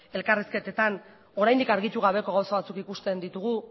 elkarrizketetan oraindik argitu gabeko gauza batzuk ikusten ditugu